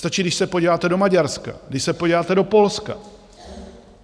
Stačí, když se podíváte do Maďarska, když se podíváte do Polska.